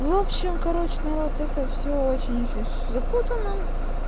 в общем короче народ это всё очень очень всё запутано